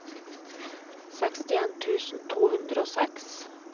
sekstien tusen to hundre og seks